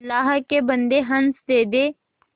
अल्लाह के बन्दे हंस दे